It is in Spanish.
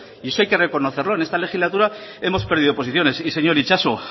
y eso hay que reconocerlo en esta legislatura hemos perdido posiciones y señor itxaso